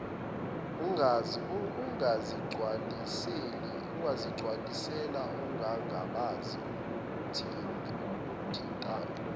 ungazigcwalisela ungangabazi ukuthintana